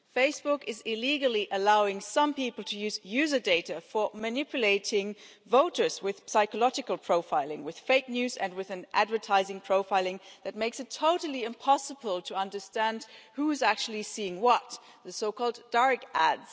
Facebook is illegally allowing some people to use the data for manipulating voters with psychological profiling, with fake news and with advertising profiling that makes it totally impossible to understand who is actually seeing what the so called dark ads'.